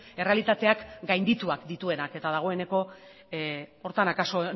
errealitateak gaindituak dituenak eta dagoeneko horretara akaso